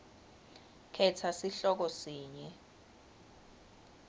khetsa sihloko sinye